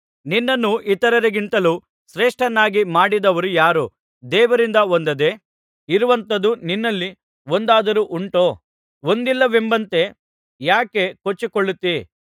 ನಿನ್ನನ್ನು ಇತರರಿಗಿಂತಲೂ ಶ್ರೇಷ್ಠನನ್ನಾಗಿ ಮಾಡಿದವರು ಯಾರು ದೇವರಿಂದ ಹೊಂದದೆ ಇರುವಂಥದು ನಿನ್ನಲ್ಲಿ ಒಂದಾದರೂ ಉಂಟೋ ಹೊಂದಿದ ಮೇಲೆ ಹೊಂದಿದ್ದಲ್ಲವೆಂಬಂತೆ ಯಾಕೆ ಕೊಚ್ಚಿಕೊಳ್ಳುತ್ತೀ